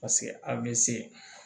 Paseke a bɛ se